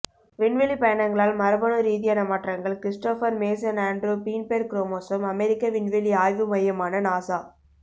விண்வெளிப் பயணங்களால் மரபணு ரீதியான மாற்றங்கள் Christopher Mason Andrew Feinberg chromosome அமெரிக்க விண்வெளி ஆய்வு மையமான நாசா